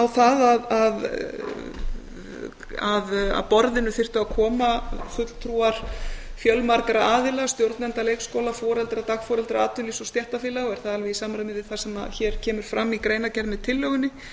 það að að borðinu þyrftu að koma fulltrúar fjölmargra aðila stjórnenda leikskóla foreldra dagforeldra atvinnulífs og stéttarfélaga og er það alveg í samræmi við það sem hér kemur fram í greinargerð með tillögunni